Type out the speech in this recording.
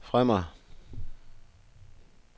fremad